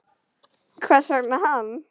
Hvers vegna hann?